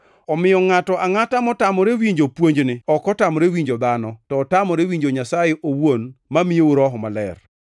Omiyo ngʼato angʼata motamore winjo puonjni ok otamore winjo dhano, to otamore winjo Nyasaye owuon mamiyou Roho Maler.